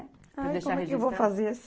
Ah, como é que eu vou fazer?